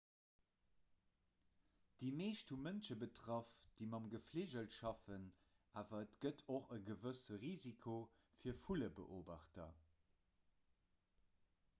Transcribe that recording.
déi meescht hu mënsche betraff déi mat gefligel schaffen awer et gëtt och e gewësse risiko fir vullebeobachter